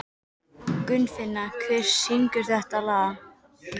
Gunnfinna, hver syngur þetta lag?